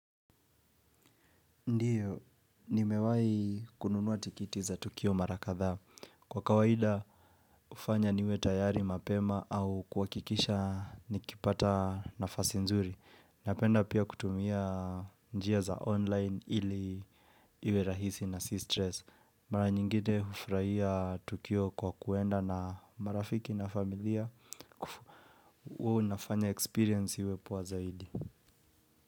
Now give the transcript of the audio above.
Ndiyo, nimewahi kununua tikiti za Tukio Mara kadha. Kwa kawaida hufanya niwe tayari mapema au kuhakikisha nikipata nafasi nzuri. Napenda pia kutumia njia za online ili iwe rahisi na si stress. Mara nyingine hufurahia Tukio kwa kwenda na marafiki na familia hua inafanya experience iwe poa zaidi.